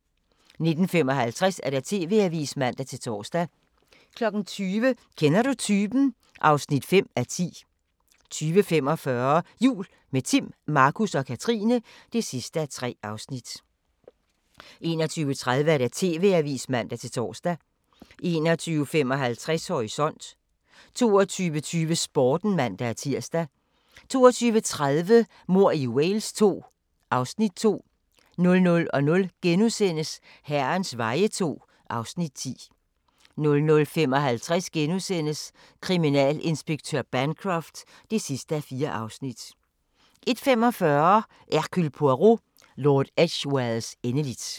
19:55: TV-avisen (man-tor) 20:00: Kender du typen? (5:10) 20:45: Jul – med Timm, Markus og Katrine (3:3) 21:30: TV-avisen (man-tor) 21:55: Horisont 22:20: Sporten (man-tir) 22:30: Mord i Wales II (Afs. 2) 00:00: Herrens veje II (Afs. 10)* 00:55: Kriminalinspektør Bancroft (4:4)* 01:45: Hercule Poirot: Lord Edgwares endeligt